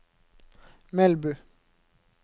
Melbu